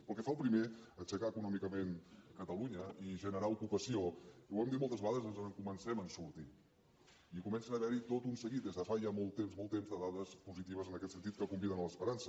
pel que fa al primer aixecar econòmicament catalunya i generar ocupació ho hem dit moltes vegades ens en comencem a sortir i comença a haverhi tot un seguit des de fa ja molt temps molt temps de dades positives en aquest sentit que conviden a l’esperança